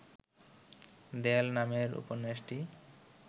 দেয়াল নামের উপন্যাসটি